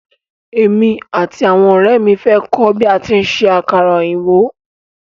Émi àti àwọn ọ̀rẹ́ ẹ̀ mi fẹ́ kọ́ bí a tí ń ṣe àkàrà òyìnbó.